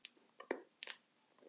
Þú ert kaldur!